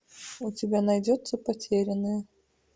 у тебя найдется потерянная